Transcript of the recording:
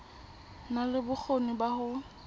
na le bokgoni ba ho